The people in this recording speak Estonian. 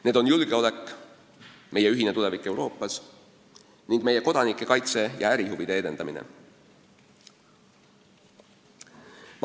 Need on julgeolek, meie ühine tulevik Euroopas ning meie kodanike kaitse ja ärihuvide edendamine.